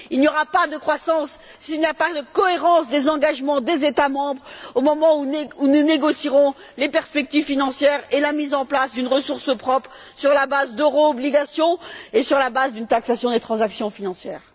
Il n'y aura pas de croissance s'il n'y a pas de cohérence des engagements des États membres au moment où nous négocierons les perspectives financières et la mise en place d'une ressource propre sur la base d'euro obligations et sur la base d'une taxation des transactions financières.